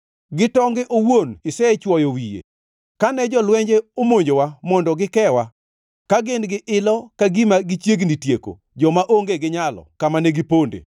Gi tonge owuon isechwoyo wiye, kane jolwenje omonjowa mondo gikewa, ka gin gi ilo ka gima gichiegni tieko joma onge gi nyalo kama ne giponde.